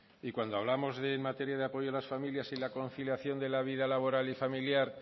y cuando hablamos de materia de apoyo a las familias y la conciliación de la vida laboral y familiar